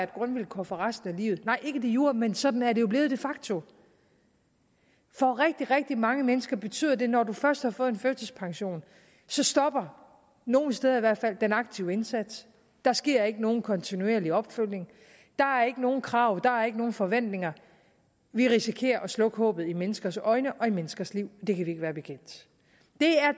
grundvilkår for resten af livet nej ikke de jure men sådan er det jo blevet de facto for rigtig rigtig mange mennesker betyder det at når de først har fået en førtidspension stopper nogle steder i hvert fald den aktive indsats der sker ikke nogen kontinuerlig opfølgning der er ikke nogen krav der er ikke nogen forventninger vi risikerer at slukke håbet i menneskers øjne og i menneskers liv det kan vi ikke være bekendt